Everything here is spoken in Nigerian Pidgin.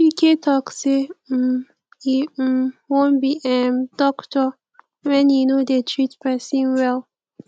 chika talk say um e um wan be um doctor wen he no dey treat person well